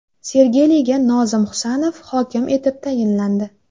Sergeliga Nozim Husanov hokim etib tayinlandi.